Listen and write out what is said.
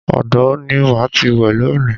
Odò ni màá ti wẹ̀ lónìí